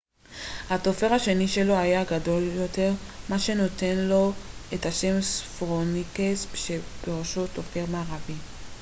הטופר השני שלו היה גדול יותר מה שנתן לו את השם הספרוניקס שפירושו טופר מערבי